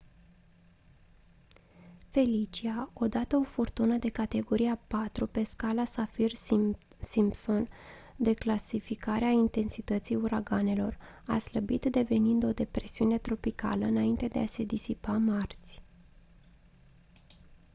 felicia odată o furtună de categoria 4 pe scara saffir-simpson de clasificare a intensității uraganelor a slăbit devenind o depresiune tropicală înainte de a se disipa marți